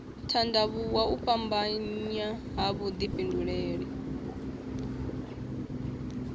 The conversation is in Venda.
tandavhuwa u fhambanya ha vhudifhinduleli